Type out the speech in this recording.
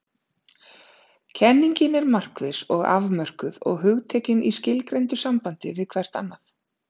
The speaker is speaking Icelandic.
Kenningin er markviss og afmörkuð og hugtökin í skilgreindu sambandi hvert við annað.